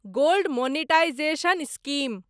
gold monetisation scheme